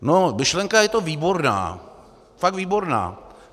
Myšlenka je to výborná, fakt výborná.